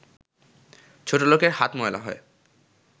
ছোটলোকের হাত ময়লা হয়